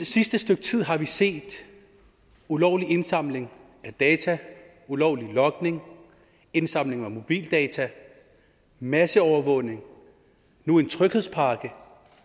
sidste stykke tid har vi set ulovlig indsamling af data ulovlig logning indsamling af mobildata masseovervågning og nu en tryghedspakke